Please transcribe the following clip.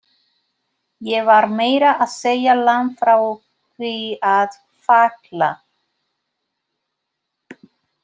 Ég var meira að segja langt frá því að falla.